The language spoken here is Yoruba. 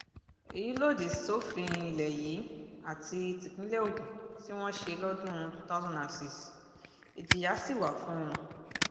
èyí lòdì sófin ilé yìí àti típínlẹ̀ ogun tí wọ́n ṣe lọ́dún 2006 ìjìyà sì wà fún un